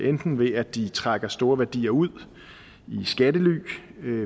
enten ved at de trækker store værdier ud i skattely